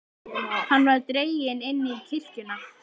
Hann var dreginn inn í kirkjuna.